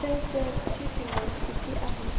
च्या शेअर ची किंमत किती आहे